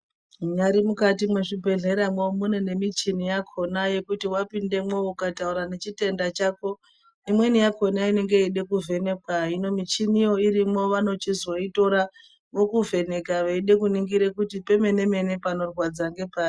Munyari mukati mwezvibhedhlera mwo munemichini yakona yekuti wapinde ukataura nechitenda chako imweni yakona inode kuvhenakwa hino muchini yo irimwo vanochizoitora mukuvheneka veida kunongira kuti panorwadza ngepari.